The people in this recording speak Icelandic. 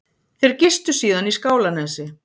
Þeir gistu síðan í Skálanesi